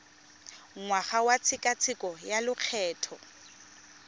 ngwaga wa tshekatsheko ya lokgetho